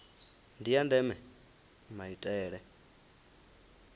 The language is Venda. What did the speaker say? ndi ya ndeme maitele